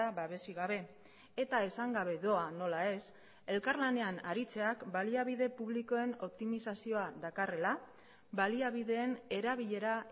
babesik gabe eta esan gabe doa nola ez elkarlanean aritzeak baliabide publikoen optimizazioa dakarrela baliabideen erabilera